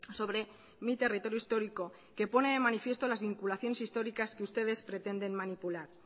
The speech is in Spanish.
sobre mi territorio histórico que pone de manifiesto las vinculaciones históricas que ustedes pretenden manipular